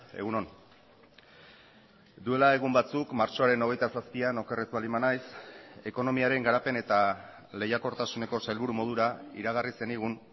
egun on duela egun batzuk martxoaren hogeita zazpian oker ez baldin banaiz ekonomiaren garapen eta lehiakortasuneko sailburu modura iragarri zenigun